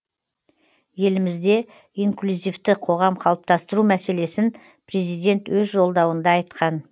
елімізде инклюзивті қоғам қалыптастыру мәселесін президент өз жолдауында айтқан